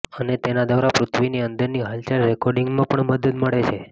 અને તેનાં દ્વારા પૃથ્વીની અંદરની હલચલ રેકોર્ડિંગમાં પણ મદદ મળે છે